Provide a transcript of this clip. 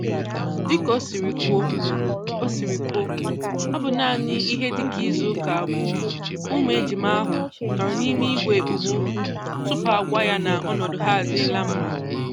Dịka o siri kwuo, ọ siri kwuo, ọ bụ naanị ihe dịka izu ụka abụọ ka ụmụ ejima ahụ nọọrọ n'ime igwe ekpomọkụ tupu agwa ya na ọnọdụ ha adịla mma